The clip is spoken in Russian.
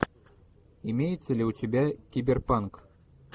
имеется ли у тебя киберпанк